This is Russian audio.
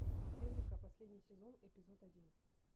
эврика последний сезон эпизод один